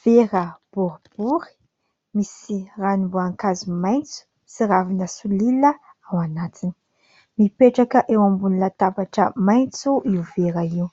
Vera boribory misy ranom-boankazo maintso sy ravina solila ao anatiny. Mipetraka eo ambon'ny latabatra maintso io vera io,